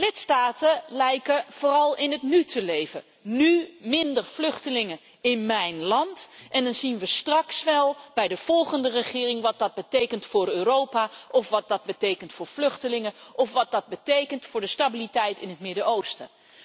Lidstaten lijken vooral in het nu te leven nu minder vluchtelingen in mijn land en dan zien we straks bij de volgende regering wel wat dat betekent voor Europa, of wat dat betekent voor de vluchtelingen, of wat dat betekent voor de stabiliteit in het Midden Oosten.